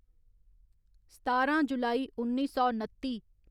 सतारां जुलाई उन्नी सौ नत्ती